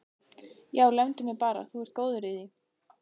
Já, lemdu mig bara, þú ert góður í því!